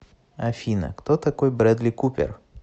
афина кто такой брэдли купер